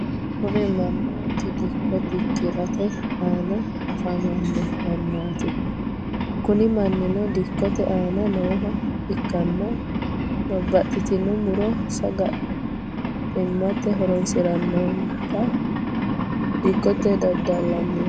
kuri mannoti dikko dikkirate aana afamanno mannati. kuni manni dikkote aana nooha ikkanna babbaxxitino muro sagalimmate horoonsi'nannita dikkote dadalanni no.